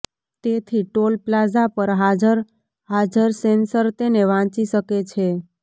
તેથી toll plaza પર હાજર હાજર સેન્સર તેને વાંચી શકે છે